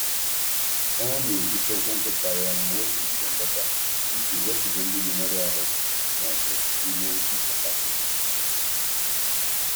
Ọ na-ehicha ụkwụ nkịta ya mgbe ọ si njem lọta iji wepụ ihe ndị na-emerụ ahụ ma ọ bụ ihe nfụkasị.